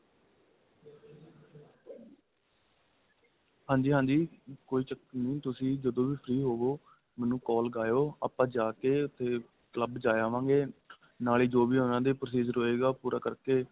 ਹਾਂਜੀ ਹਾਂਜੀ ਕੋਈ ਚੱਕਰ ਨਹੀਂ ਤੁਸੀਂ ਜਦੋ ਵੀ free ਹੋਵੋ ਮੈਨੂੰ call ਲਗਾਹੋ ਆਪਾਂ ਜਾਕੇ ਉਥੇ club ਜਾਏ ਆਵਾਗੇ ਨਾਲੋਂ ਜੋ ਵੀ ਉਹਨਾ ਦਾ procedure ਹੋਏਗਾ ਉਹ ਪੂਰਾ ਕਰਕੇ